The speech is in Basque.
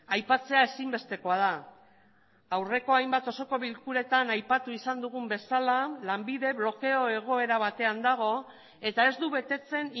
aipatzea ezinbestekoa da aurreko hainbat osoko bilkuretan aipatu izan dugun bezala lanbide blokeo egoera batean dago eta ez du betetzen